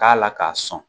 K'a la k'a sɔn